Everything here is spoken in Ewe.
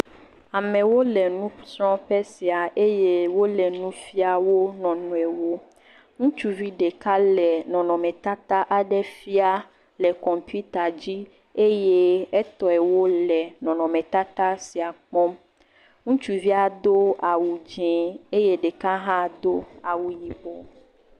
Amewo le nusrɔ̃ƒe sia eye wole nufia wo nɔnɔewo, ŋutsuvi ɖeka le nɔnɔmetata aɖe fia le kɔmpita dzi eye etɔewo le nɔnɔmetata sia kpɔm, ŋutsuvia do awu dzɛ eye ɖeka hã do awu yibɔ.